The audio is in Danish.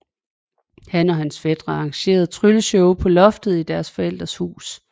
Han og hans fætre arrangerede trylleshow på loftet i deres forældres hus